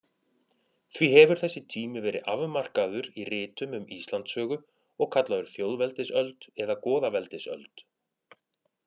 Því hefur þessi tími verið afmarkaður í ritum um Íslandssögu og kallaður þjóðveldisöld eða goðaveldisöld.